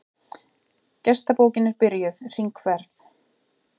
Gestabókin er byrjuð hringferð.